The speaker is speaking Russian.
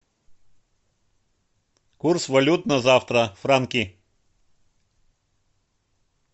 курс валют на завтра франки